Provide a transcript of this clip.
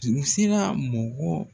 tun bɛ se ka mɔgɔ